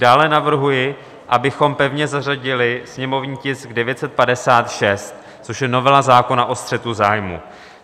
Dále navrhuji, abychom pevně zařadili sněmovní tisk 956, což je novela zákona o střetu zájmů.